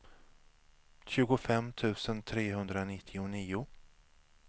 tjugofem tusen trehundranittionio